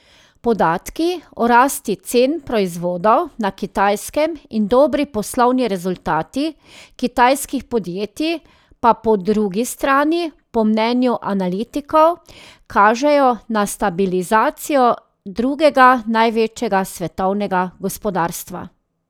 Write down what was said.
Podatki o rasti cen proizvodov na Kitajskem in dobri poslovni rezultati kitajskih podjetij pa po drugi strani po mnenju analitikov kažejo na stabilizacijo drugega največjega svetovnega gospodarstva.